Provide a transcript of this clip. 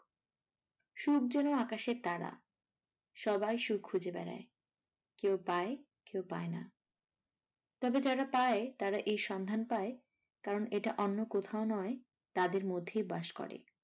সুখ যেন আকাশের তারা সবাই সুখ খুঁজে বেড়ায় কেউ পায়, কেউ পাইনা। তবে যারা পায় তার এর সন্ধান পায় কারণ এটা অন্য কোথাও নয় তাদের মধ্যেই বাস করে।